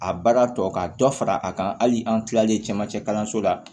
A baara tɔ ka dɔ fara a kan hali an tilalen camancɛ kalanso la